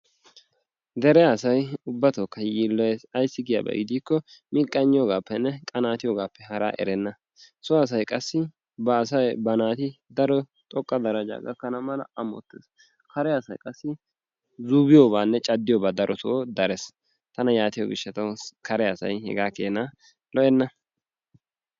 Dere asay ubbatookka yiilloyes. Ayissi giyaaba giikko miqqayinniyoogaappenne qanaatiyogaappe haraa erenna. So asay qassi ba asay ba naati daro xoqqa darajjaa gakkana mala amottes. Kare asay qassi uufiyogaanna caddiyogaa darotoo dares. Tana yaatiyo gishshatawu kare asa hegaa keena lo'enna.